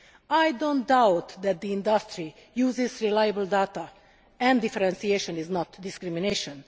I do not doubt that the industry uses reliable data and differentiation is not discrimination.